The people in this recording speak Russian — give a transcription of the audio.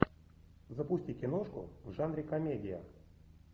запусти киношку в жанре комедия